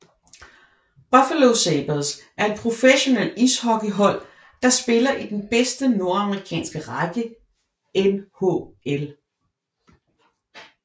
Buffalo Sabres er et professionelt ishockeyhold der spiller i den bedste nordamerikanske række NHL